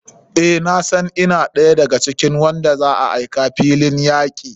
Eh nasan ina ɗaya da ga cikin wanda za a aika filin yaki.